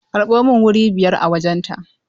Karɓo min wuri biyar a wajen ta!